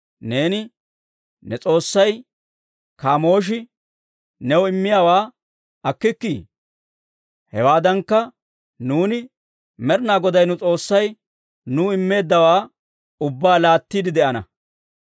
Neeni ne s'oossay Kaamooshi new immiyaawaa akkikkii? hewaadankka, nuuni Med'inaa Goday nu S'oossay nuw immeeddawaa ubbaa laattiide de'ana.